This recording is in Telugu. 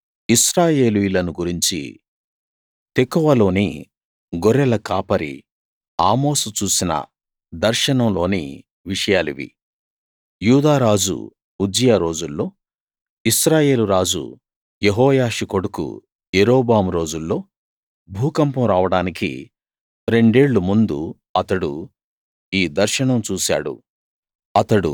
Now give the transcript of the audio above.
ఇశ్రాయేలీయులను గురించి తెకోవలోని గొర్రెల కాపరి ఆమోసు చూసిన దర్శనంలోని విషయాలివి యూదారాజు ఉజ్జియా రోజుల్లో ఇశ్రాయేలు రాజు యెహోయాషు కొడుకు యరొబాము రోజుల్లో భూకంపం రావడానికి రెండేళ్ళు ముందు అతడు ఈ దర్శనం చూశాడు